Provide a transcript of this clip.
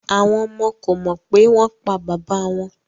Awọn ọmọ ko mọ pe won pa baba won